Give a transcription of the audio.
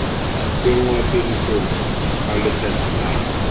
tsenngwa tirisong ga lekgetho la